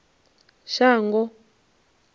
shango